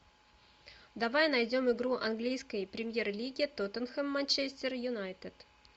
давай найдем игру английской премьер лиги тоттенхэм манчестер юнайтед